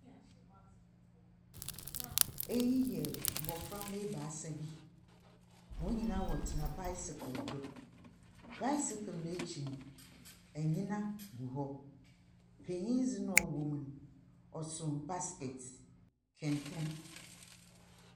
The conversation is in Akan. Ɛyi yɛ mmofra mma baasa bi. Wɔn nyinaa ɔtena baesekele do. Baesekele no akyi anyina gu hɔ. Panyin de na ɛwɔm no ɔso baskɛte.